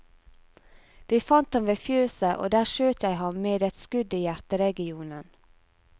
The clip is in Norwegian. Vi fant ham ved fjøset, og der skjøt jeg ham med et skudd i hjerteregionen.